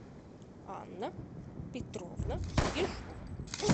анна петровна ежова